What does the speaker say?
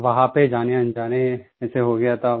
वहां पर जानेअनजाने ऐसे हो गया था